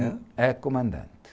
A comandante.